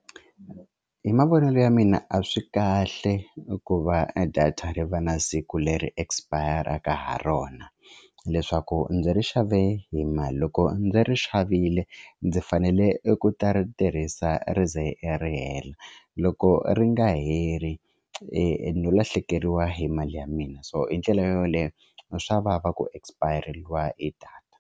Hi mavonelo ya mina a swi kahle ku va data ri va na siku leri expire-aka ha rona leswaku ndzi ri xave hi mali loko ndzi ri xavile ndzi fanele ku ta ri tirhisa ri ze ri hela loko ri nga heli no lahlekeriwa hi mali ya mina so hi ndlela yoleyo ni swa vava ku expire-reliwa hi data.